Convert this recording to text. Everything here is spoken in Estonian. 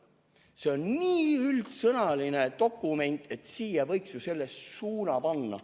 See strateegia on nii üldsõnaline dokument, et selle ühe suuna võiks ju siia panna.